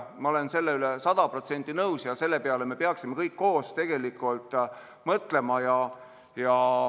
Ma olen sellega sada protsenti nõus ja selle peale me peaksime tegelikult kõik koos mõtlema.